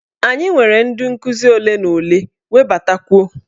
Anyị nwere ndị nkuzi ole na ole, webatakwuo!